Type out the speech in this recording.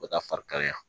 U bɛ taa fari kalaya